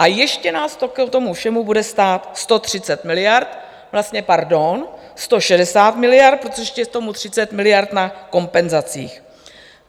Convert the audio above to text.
A ještě nás to k tomu všemu bude stát 130 miliard, vlastně pardon, 160 miliard, protože ještě k tomu 30 miliard na kompenzacích.